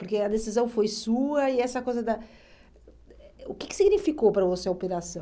Porque a decisão foi sua e essa coisa da eh... O que que significou para você a operação?